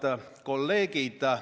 Head kolleegid!